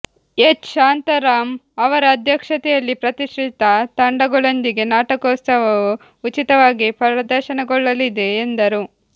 H Shantaram ಅವರ ಅಧ್ಯಕ್ಷತೆಯಲ್ಲಿ ಪ್ರತಿಷ್ಠಿತ ತಂಡಗಳೊಂದಿಗೆ ನಾಟಕೋತ್ಸವವು ಉಚಿತವಾಗಿ ಪ್ರದರ್ಶನಗೊಳ್ಳಲಿದೆ ಎಂದರು